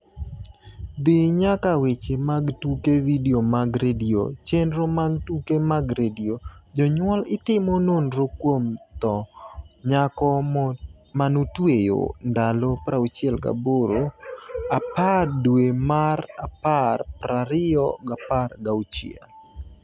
dhi nyaka Weche mag tuke Vidio mag redio chenro mag tuke mag redio Jonyuol itimo nonro kuom tho nyako manotweyo ndalo 68 10 dwe mar apar 2016